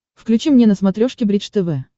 включи мне на смотрешке бридж тв